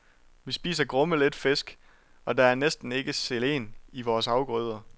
Vi spiser grumme lidt fisk og der er næsten ikke selen i vores afgrøder.